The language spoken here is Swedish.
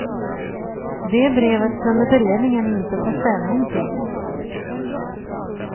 Det brevet kunde beredningen inte ta ställning till.